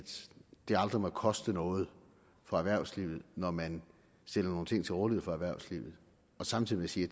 det aldrig må koste noget for erhvervslivet når man stiller nogle ting til rådighed for erhvervslivet og samtidig sige